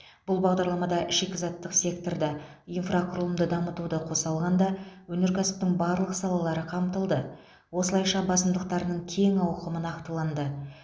бұл бағдарламада шикізаттық сеткорды инфрақұрылымды дамытуды қоса алғанда өнеркәсіптің барлық салалары қамтылды осылайша басымдықтарының кең ауқымы нақтыланды